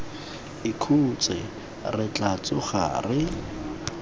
ikhutse re tla tsoga re